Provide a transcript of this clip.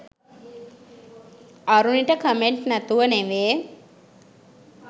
අරුණිට comment නැතුව නෙවේ